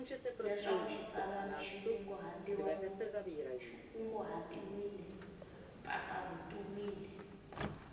leswaku xitsalwana xi kunguhatiwile mpfapfarhutiwile